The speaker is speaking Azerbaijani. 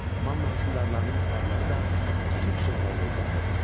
Manna hökmdarlarının adları da türk sözləri ilə izah olunur.